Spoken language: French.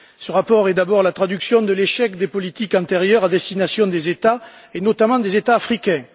Ce rapport est d'abord la traduction de l'échec des politiques antérieures à destination des États et notamment des États africains.